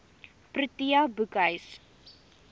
protea boekhuis